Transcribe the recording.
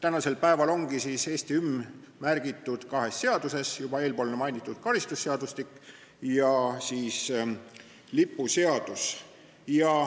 Eesti hümni on praegu mainitud kahes seaduses, juba eespool mainitud karistusseadustikus ja lipuseaduses.